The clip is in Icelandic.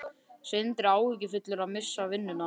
Sindri: Áhyggjufullur að missa vinnuna?